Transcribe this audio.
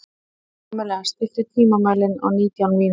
Pamela, stilltu tímamælinn á nítján mínútur.